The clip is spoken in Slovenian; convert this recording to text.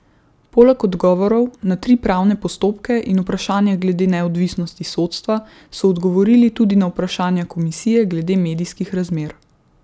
Poleg odgovorov na tri pravne postopke in vprašanje glede neodvisnosti sodstva so odgovorili tudi na vprašanja komisije glede medijskih razmer.